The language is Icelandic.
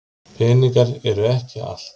Peningar eru ekki allt.